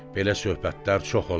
Belə söhbətlər çox olar.